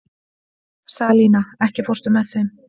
Salína, ekki fórstu með þeim?